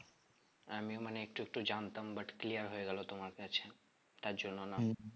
আমিও মানে একটু একটু জানতাম but clear হয়ে গেলো তোমার কাছে তার জন্য না